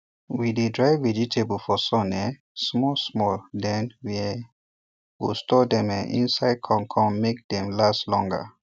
we dey dry vegetables for sun um small small then we um go store dem um inside con con make dem last longer